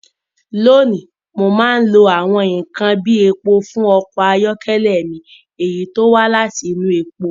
Lónìí, mo máa ń lo àwọn nkan bíi epo fún ọkọ̀ ayọ́kẹ́lẹ́ mi, èyí tí ó wá láti inú epo.